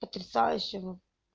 потрясающего